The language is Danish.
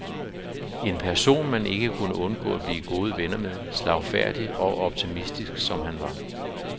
En person man ikke kunne undgå at blive gode venner med, slagfærdig og optimistisk som han var.